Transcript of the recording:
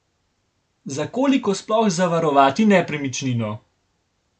Za koliko sploh zavarovati nepremičnino?